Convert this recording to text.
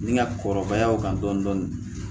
Ni n ka kɔrɔbaya o kan dɔɔnin dɔɔnin